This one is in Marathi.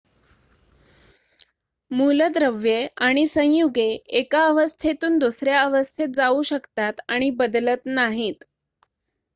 मूलद्रव्ये आणि संयुगे 1 अवस्थेतून दुसऱ्या अवस्थेत जाऊ शकतात आणि बदलत नाहीत